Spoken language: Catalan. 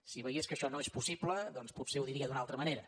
si veiés que això no és possible potser ho diria d’una altra manera